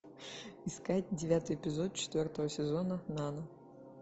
искать девятый эпизод четвертого сезона нано